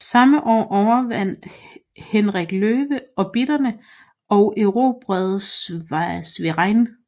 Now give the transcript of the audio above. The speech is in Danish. Samme år overvandt Henrik Løve obotritterne og erobrede Schwerin